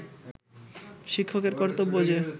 শিক্ষকের কর্তব্য যে